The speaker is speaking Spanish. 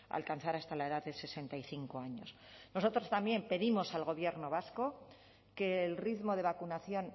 alcanzar hasta la edad de sesenta y cinco años nosotros también pedimos al gobierno vasco que el ritmo de vacunación